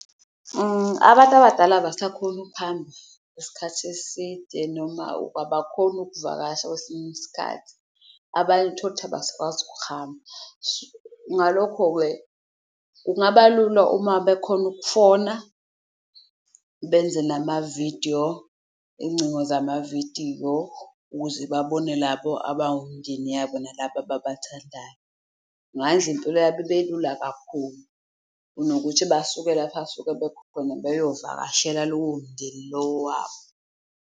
Abantu abadala abasakhoni ukuhamba isikhathi eside noma abakhoni ukuvakasha kwesinye isikhathi abanye tholukuthi abasakwazi ukuhamba. Ngalokho-ke kungaba lula uma bekhona ukufona, benze namavidiyo, ingcingo zamavidiyo ukuze babone labo abawumndeni yabo nalabo ababathandayo. Ngayenz'impilo yabo ibelula kakhulu kunokuthi basuke lapha abasuke bekhona beyovakashela lowo mndeni lo wabo.